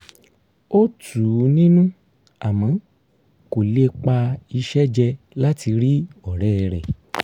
ó tù ú nínú àmọ́ kò lè pa iṣẹ́ jẹ láti rí ọ̀rẹ́ rẹ̀